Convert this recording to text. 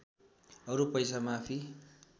अरू पैसा माफी